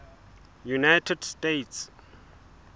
united states